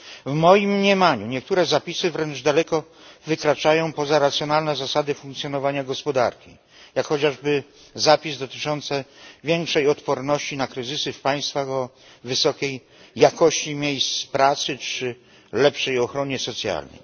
W moim mniemaniu niektóre zapisy wręcz daleko wykraczają poza racjonalne zasady funkcjonowania gospodarki jak chociażby zapis dotyczący większej odporności na kryzysy w państwach, w których są miejsca pracy wysokiej jakości czy lepsza ochrona socjalna.